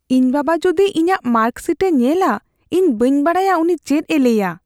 ᱤᱧ ᱵᱟᱵᱟ ᱡᱩᱫᱤ ᱤᱧᱟᱜ ᱢᱟᱨᱠᱥᱦᱤᱴᱮ ᱧᱮᱞᱟ, ᱤᱧ ᱵᱟᱹᱧ ᱵᱟᱰᱟᱭᱟ ᱩᱱᱤ ᱪᱮᱫ ᱮ ᱞᱟᱹᱭᱼᱟ ᱾